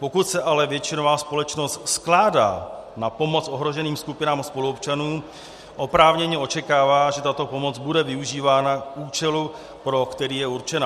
Pokud se ale většinové společnost skládá na pomoc ohroženým skupinám spoluobčanů, oprávněně očekává, že tato pomoc bude využívána k účelu, pro který je určena.